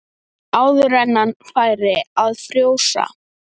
Áður en færi að frjósa.